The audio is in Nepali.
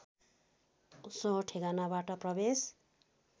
सो ठेगानाबाट प्रवेश